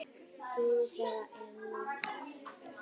Tími þeirra er nú.